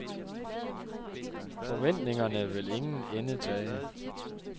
Forventningerne vil ingen ende tage.